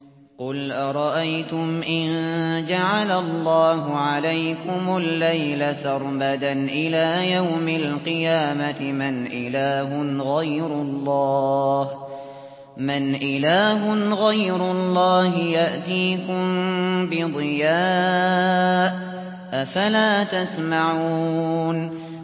قُلْ أَرَأَيْتُمْ إِن جَعَلَ اللَّهُ عَلَيْكُمُ اللَّيْلَ سَرْمَدًا إِلَىٰ يَوْمِ الْقِيَامَةِ مَنْ إِلَٰهٌ غَيْرُ اللَّهِ يَأْتِيكُم بِضِيَاءٍ ۖ أَفَلَا تَسْمَعُونَ